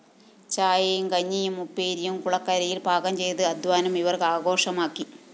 ചായയും കഞ്ഞിയും ഉപ്പേരിയും കുളക്കരയില്‍ പാകംചെയ്ത് അധ്വാനം ഇവര്‍ ആഘോഷമാക്കി